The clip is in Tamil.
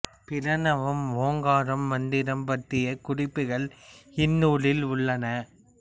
பிரணவம் ஓங்காரம் மந்திரம் பற்றிய குறிப்புகள் இந்த நூலில் உள்ளன